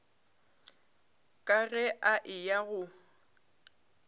ka ge a eya go